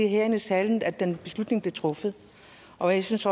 herinde i salen at den beslutning blev truffet og jeg synes